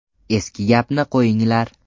Eski gapni qo‘yinglar.